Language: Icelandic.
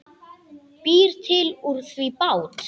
Býr til úr því bát.